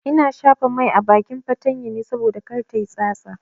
Ina shafa mai a bakin fatanyar ne saboda kar tayi tsatsa.